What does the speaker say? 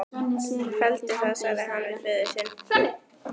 Felldu það, sagði hann við föður sinn.